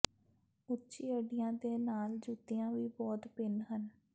ਉੱਚੀ ਅੱਡੀਆਂ ਦੇ ਨਾਲ ਜੁੱਤੀਆਂ ਵੀ ਬਹੁਤ ਭਿੰਨ ਹਨ